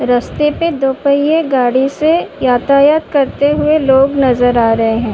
रस्ते पे दोपहिये गाड़ी से यातायात करते हुऐ लोग नज़र आ रहे हैं।